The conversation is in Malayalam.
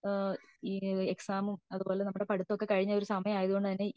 ഏഹ്ഹ് ഈ എക്സമും അത്പോലെ നമ്മുടെ പഠിത്തം ഒക്കെ കഴിഞ്ഞ ഒരു സമയം ആയതുകൊണ്ട് തന്നെ